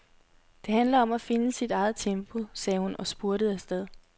Det handler om at finde sit eget tempo, sagde hun og spurtede afsted.